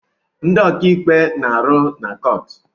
Ndị ọkaikpe na-arụ na kọọtụ